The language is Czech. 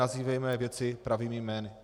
Nazývejme věci pravými jmény.